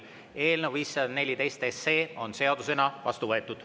Eelnõu 514 on seadusena vastu võetud.